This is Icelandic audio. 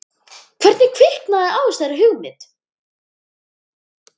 Hvernig kviknaði þessi hugmynd?